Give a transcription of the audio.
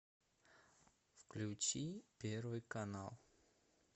включи первый канал